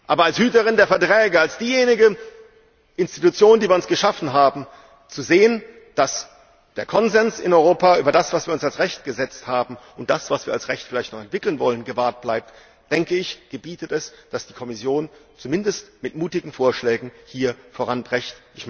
Aber als Hüterin der Verträge, als diejenige Institution, die wir uns geschaffen haben, zu sehen, dass der Konsens in Europa über das, was wir uns als Recht gesetzt haben, und das, was wir als Recht vielleicht noch entwickeln wollen, gewahrt bleibt, ist es geboten, dass die Kommission zumindest mit mutigen Vorschlägen hier voranprescht.